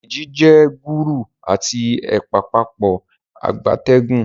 Deji jé Gúgúrú ati ẹpa Pápá ìgbatẹ́gùn